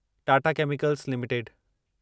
Tata chemicals limited